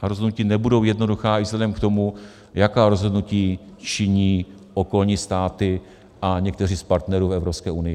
Ta rozhodnutí nebudou jednoduchá i vzhledem k tomu, jaká rozhodnutí činí okolní státy a někteří z partnerů v Evropské unii.